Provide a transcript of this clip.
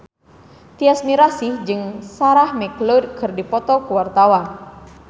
Tyas Mirasih jeung Sarah McLeod keur dipoto ku wartawan